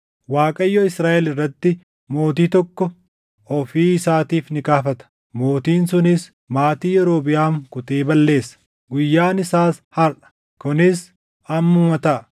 “ Waaqayyo Israaʼel irratti mootii tokko ofii isaatiif ni kaafata; mootiin sunis maatii Yerobiʼaam kutee balleessa. Guyyaan isaas harʼa! Kunis ammuma taʼa.